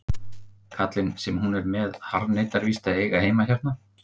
Kallinn sem hún er með harðneitar víst að eiga heima hérna.